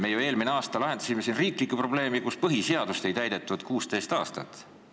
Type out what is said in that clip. Me ju eelmine aasta lahendasime siin riiklikku probleemi, kui põhiseadust ei olnud 16 aastat täidetud.